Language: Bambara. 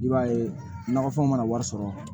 I b'a ye nakɔfɛnw mana wari sɔrɔ